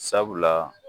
Sabula